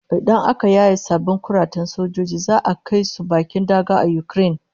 Idan aka yaye sabbin kuratan sojojin za'a kai su bakin daga a Ukraine